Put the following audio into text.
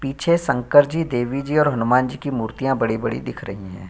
पीछे शंकर जी देवी जी और हनुमान जी का मूर्तियां बड़ी-बड़ी दिख रही है।